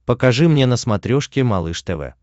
покажи мне на смотрешке малыш тв